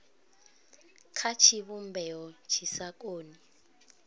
kha tshivhumbeo tshi sa koni